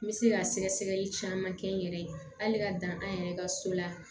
N bɛ se ka sɛgɛsɛgɛli caman kɛ n yɛrɛ ye hali ka dan an yɛrɛ ka so la